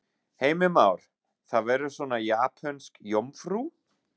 Heimir Már: Það verður svona japönsk jómfrú?